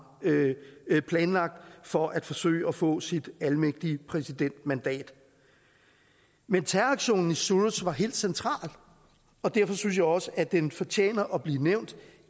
planlagt for at forsøge at få sit almægtige præsidentmandat men terroraktionen i suruç var helt central og derfor synes jeg også at den fortjener at blive nævnt